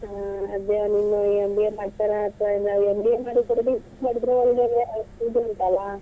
ಹ್ಮ್ ಅದು ಇನ್ನು MBA ಮಾಡ್ತಾನಾ ಅತ್ವಾ ಇನ್ನು MBA ಮಾಡಿದ್ರು ಇದು ಉಂಟಲ್ಲ.